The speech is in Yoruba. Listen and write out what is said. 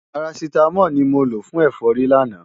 Parasítámọ̀ ni mo lò fún ẹ̀fọ́rí lánàá.